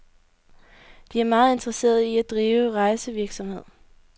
De er meget interesserede i at drive rejsevirksomhed.